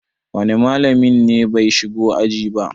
wane malamin ne bai shigo aji ba?